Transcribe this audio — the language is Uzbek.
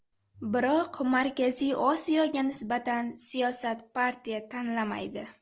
Biroq Markaziy Osiyoga nisbatan siyosat partiya tanlamaydi.